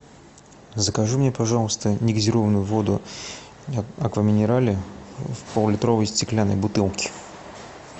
закажи мне пожалуйста негазированную воду аква минерале в поллитровой стеклянной бутылке